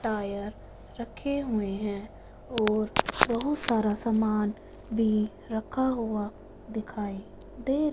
tyre रखे हुए हैं और बहोत सारा सामान भी रखा हुआ दिखाई दे--